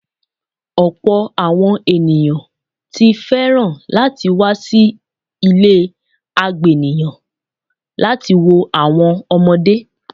Ọpọ̀ àwọn ènìyàn ti fẹ́ràn láti wá sí ilé àgbéníyàn láti wo àwọn ọmọdé.